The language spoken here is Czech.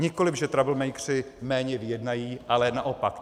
Nikoli že troublemakeři méně vyjednají, ale naopak.